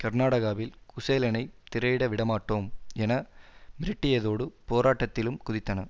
கர்நாடகாவில் குசேலனை திரையிட விடமாட்டோம் என மிரட்டியதோடு போராட்டத்திலும் குதித்தன